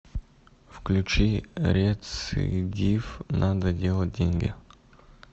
включи рецидив надо делать деньги